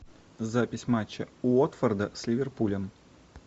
запись матча уотфорда с ливерпулем